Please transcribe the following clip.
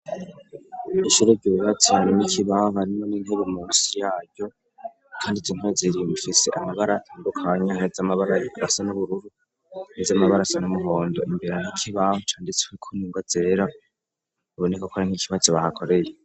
Ishururwauwbatiranu n'ikibaha arimwo n'inpubu musi yayo, kandi zinko zirimufise amabarangukanyahe z'amabara yikasa n'ubururu ni zoamabarasa n'umuhondo imbere n' ikibaho canditswekoningo zera ubuneko kora nk'ikibazo bahakoreye.